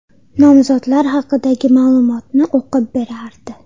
Nomzodlar haqidagi ma’lumotni o‘qib berardi.